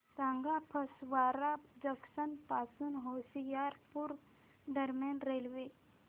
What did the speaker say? सांगा फगवारा जंक्शन पासून होशियारपुर दरम्यान रेल्वे